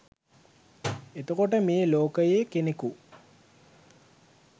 එතකොට මේ ලෝකයේ කෙනෙකු